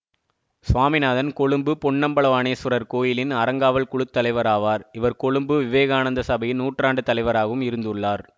சுவாமிநாதன் கொழும்பு பொன்னம்பலவாணேசுவரர் கோயிலின் அறங்காவல் குழு தலைவராவார் இவர் கொழும்பு விவேகானந்த சபையின் நூற்றாண்டு தலைவராகவும் இருந்துள்ளார்